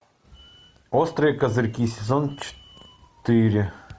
острые козырьки сезон четыре